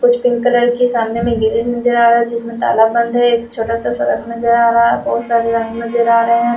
कुछ pink colour के सामने में गेट नजर आ रहा जिसमे ताला बंद है एक छोटा सा सड़क नजर आ रहा है बहुत सारे रंग नजर आ रहे हैं।